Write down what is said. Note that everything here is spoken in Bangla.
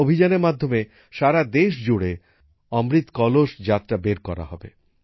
এই অভিযানের মাধ্যমে সারা দেশ জুড়ে অমৃত কলস যাত্রা বের করা হবে